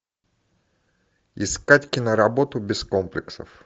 искать киноработу без комплексов